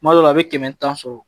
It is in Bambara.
Kuma dɔ la a bɛ kɛmɛ tan sɔrɔ